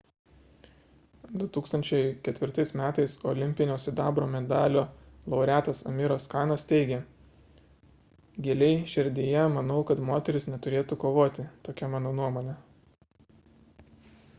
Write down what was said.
2004 m olimpinio sidabro medalio laureatas amiras kanas teigė giliai širdyje manau kad moterys neturėtų kovoti tokia mano nuomonė